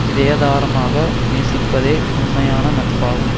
இதயதாரமாக நேசிப்பதே உண்மையான நட்பாகும்